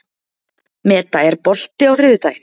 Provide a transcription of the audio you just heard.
Meda, er bolti á þriðjudaginn?